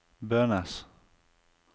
Bønes